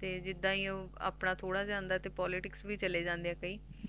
ਤੇ ਜਿੱਦਾ ਹੀ ਓਹ ਆਪਣਾ ਥੋੜਾ ਜਾ ਆਂਦਾ ਏ ਤਾਂ Politics ਵੀ ਚਲੇ ਜਣਦੇ ਆ ਤੇ